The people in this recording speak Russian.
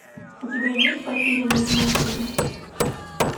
у тебя есть потерянные в мюнхене